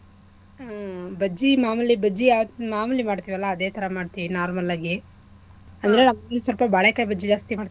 ಹ್ಮ್ ಬಜ್ಜಿ ಮಾಮೂಲಿ ಬಜ್ಜಿ ಯಾವ್~ ಮಾಮೂಲಿ ಮಾಡ್ತೀವಲ್ಲ ಅದೇಥರಾ ಮಾಡ್ತಿವಿ normal ಆಗಿ ಅಂದ್ರೆ ಇಲ್ಸ್ವಲ್ಪ ಬಾಳೆಕಾಯಿ ಬಜ್ಜಿ ಜಾಸ್ತಿ ಮಾಡ್ತಿವಿ.